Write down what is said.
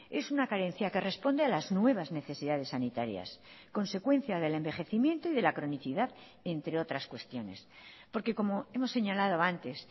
es una carencia que responde a las nuevas necesidades sanitarias consecuencia del envejecimiento y de la cronicidad entre otras cuestiones porque como hemos señalado antes